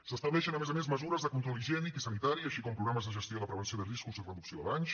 s’estableixen a més a més mesures de control higiènic i sanitari així com programes de gestió i de prevenció de riscos i reducció de danys